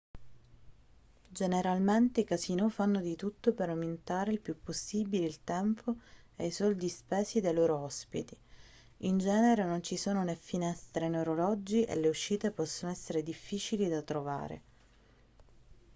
generalmente i casinò fanno di tutto per aumentare il più possibile il tempo e i soldi spesi dai loro ospiti in genere non ci sono né finestre né orologi e le uscite possono essere difficili da trovare